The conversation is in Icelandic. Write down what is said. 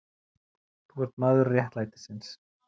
Þú ert maður réttlætisins.